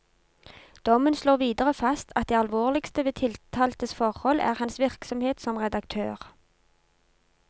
Dommen slår videre fast at det alvorligste ved tiltaltes forhold er hans virksomhet som redaktør.